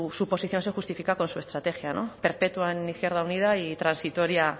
su posición se justifica con su estrategia perpetua en izquierda unida y transitoria